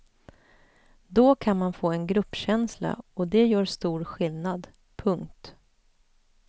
Då kan man få en gruppkänsla och det gör stor skillnad. punkt